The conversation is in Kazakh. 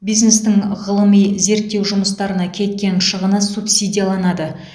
бизнестің ғылыми зерттеу жұмыстарына кеткен шығыны субсидияланады